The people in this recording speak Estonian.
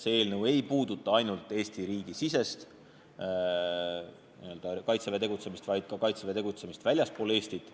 See eelnõu ei puuduta ainult Eesti riigi sisest Kaitseväe tegutsemist, vaid ka Kaitseväe tegutsemist väljaspool Eestit.